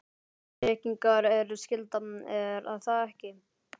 tryggingar eru skylda, er það ekki?